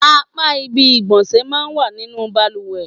Apá ibi ìgbọ̀nsẹ̀ máa ń wà nínú bàlùwẹ̀.